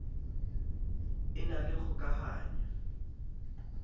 e na le kgoka hano